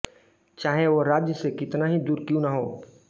चाहे वह राज्य से कितना ही दूर क्यों ना हों